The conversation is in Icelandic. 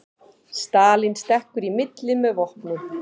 Stalín stekkur í milli með vopnin